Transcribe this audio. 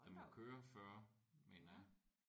Den må køre 40 mener jeg